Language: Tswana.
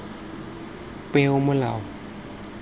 peomolao